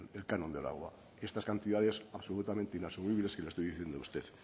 el canon del agua estas cantidades absolutamente inasumibles que le estoy diciendo a usted